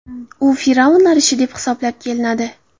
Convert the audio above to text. U fir’avnlar ishi deb hisoblab kelinadi.